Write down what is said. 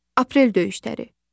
Aprel döyüşləri.